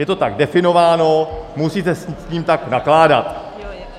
Je to tak definováno, musíte s tím tak nakládat.